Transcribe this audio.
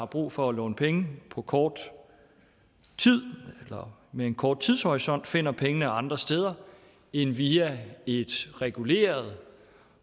brug for at låne penge på kort tid eller med en kort tidshorisont finder pengene andre steder end via et reguleret